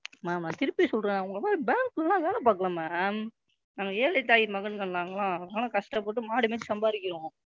Ma'am நான் திருப்பி சொல்றேன் Ma'am உங்களை மாதிரி Bank ல எல்லாம் வேலை பாக்கலை Ma'am நாங்கள்ளாம் ஏழைத்தாய் மகன்கள் நாங்கள்ளாம். நாங்கள்ளாம் கஷ்டப்பட்டு மாடு மேச்சு சம்பாரிக்கிறோம்.